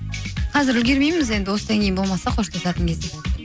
қазір үлгермейміз енді осыдан кейін болмаса қоштасатын кезде